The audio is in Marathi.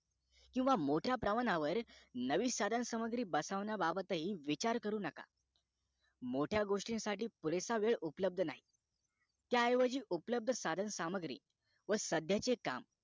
किंवा मोठ्या प्रमाणावर नवीन साधन सामग्री बसवण्याबाबतहि विचार करू नका मोठ्या गोष्टी साठी पुरेसा वेळ उपलब्ध नाही त्या ऐवजी उपलब्ध साधन सामग्री व सध्याचे काम